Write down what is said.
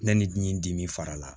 Ne ni n dimi fara la